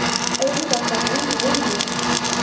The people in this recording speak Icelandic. Auðvitað ertu að reyna við mig!